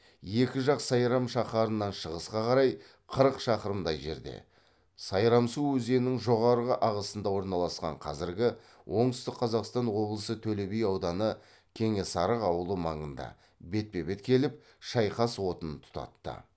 екі жақ сайрам шаһарынан шығысқа қарай қырық шақырымдай жерде сайрамсу өзенінің жоғарғы ағысында орналасқан қазіргі оңтүстік қазақстан облысы төлеби ауданы кеңесарық ауылы маңында бетпе бет келіп шайқас отын тұтатты